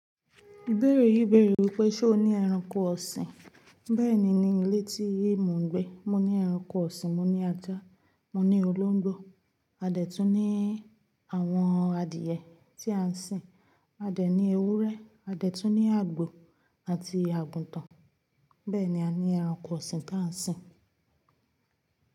Ibere yí bẹ̀rẹ̀ wípé ṣe o ní ẹranko ọ̀sìn, bẹ́ẹ̀ni ní mo ni ilé tí emi ń gbé mo ní ẹranko ọ̀sìn, mo ní ajá, mo ní olóńgbò, a dẹ̀ tún ní àwọn adìẹ tí à ń sìn, a dẹ̀ ní ewúrẹ́, a dẹ̀ tún ní àgbò àti àgùntàn, bẹ́ẹ̀ni a ní ẹranko ọ̀sìn tí à ń sìn.